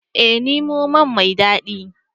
Ee ni noma mai dadi